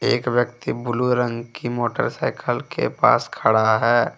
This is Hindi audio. एक व्यक्ति ब्लू रंग की मोटरसाइकिल के पास खड़ा है।